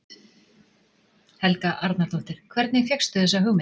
Helga Arnardóttir: Hvernig fékkstu þessa hugmynd?